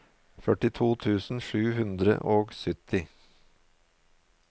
førtito tusen sju hundre og sytti